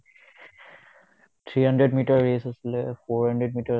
three hundred meter race আছিলে four hundred meter আছিল